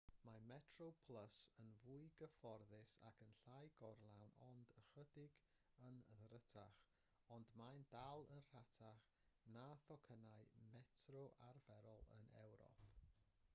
mae metroplus yn fwy cyfforddus ac yn llai gorlawn ond ychydig yn ddrytach ond mae'n dal yn rhatach na thocynnau metro arferol yn ewrop